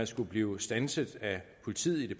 skulle blive standset af politiet i